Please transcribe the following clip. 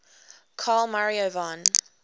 carl maria von